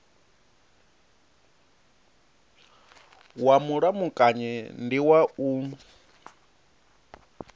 wa mulamukanyi ndi wa u